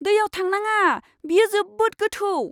दैयाव थांनाङा। बेयो जोबोद गोथौ!